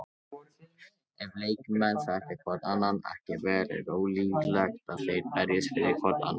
Ef leikmenn þekkja hvorn annan ekki vel er ólíklegt að þeir berjist fyrir hvorn annan.